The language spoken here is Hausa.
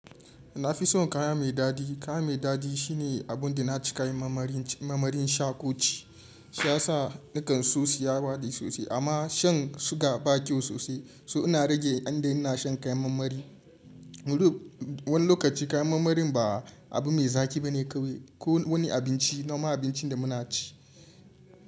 Na fi son kaya mai dadi. Kaya mai dadi shine abin da na ci kayan mamarin sha ko ci. Shi ya sa nakan so siya baɗi sosai. Amma shan suga ba kyau sosai, so ina rage yayin da ina shan kayan mamari. Wani lokaci kayan mamarin ba abu mai zaki ba ne kawai. Ko wani abinci, noma abinci da muna ci.